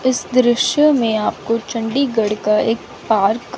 इस दृश्य में आपको चंडीगढ़ का एक पार्क --